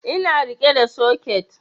Ina riƙe da soket